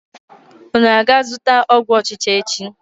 Unu ga-aga zụta ọgwụ ọchịcha echi?